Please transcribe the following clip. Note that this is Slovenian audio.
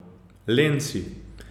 Len si.